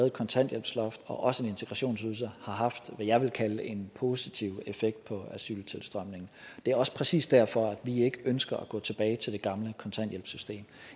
et kontanthjælpsloft og også en integrationsydelse har haft hvad jeg vil kalde en positiv effekt på asyltilstrømningen det er også præcis derfor at vi ikke ønsker at gå tilbage til det gamle kontanthjælpssystem